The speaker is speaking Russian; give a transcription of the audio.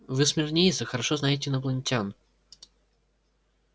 вы смирниец и хорошо знаете инопланетян